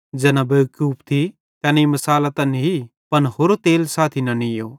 ज़ैना बेवकूफ थी तैनेईं मिसालां त नी पन होरो तेल साथी न नीयो